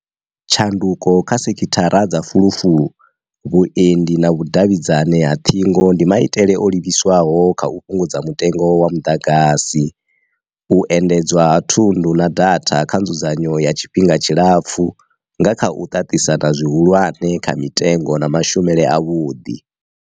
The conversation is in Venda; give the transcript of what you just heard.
Tshanduko kha sekithara dza fulufulu, vhuendi na vhu davhidzani ha ṱhingo ndi ma itele o livhiswaho kha u fhungudza mutengo wa muḓagasi. U endedzwa ha thundu na data kha nzudzanyo ya tshifhinga tshi lapfu nga kha u ṱaṱisana zwi hulwane kha mitengo na ma shumele a vhuḓi.